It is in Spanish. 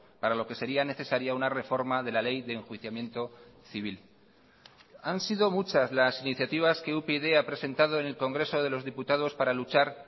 para lo que sería necesaria una reforma de la ley de enjuiciamiento civil han sido muchas las iniciativas que upyd ha presentado en el congreso de los diputados para luchar